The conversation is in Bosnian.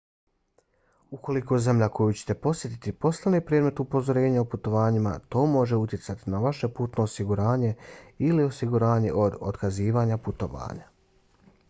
ukoliko zemlja koju ćete posjetiti postane predmet upozorenja o putovanjima to može utjecati na vaše putno osiguranje ili osiguranje od otkazivanja putovanja